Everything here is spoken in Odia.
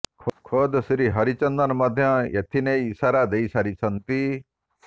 ଖୋଦ୍ ଶ୍ରୀ ହରିଚନ୍ଦନ ମଧ୍ୟ ଏଥିନେଇ ଇସାରା ଦେଇ ସାରିଛନ୍ତି